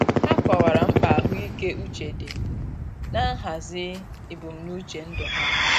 Ha kọwara mkpa ahụike uche di nihazi ebumnuche ndụ ha.